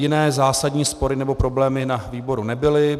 Jiné zásadní spory nebo problémy na výboru nebyly.